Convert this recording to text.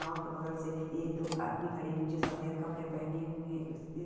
नाव के बगल से एक दो आदमी खड़े हुए है जो सफेद कपड़े पहने हुए है।